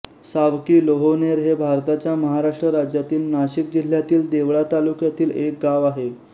सावकीलोहोनेर हे भारताच्या महाराष्ट्र राज्यातील नाशिक जिल्ह्यातील देवळा तालुक्यातील एक गाव आहे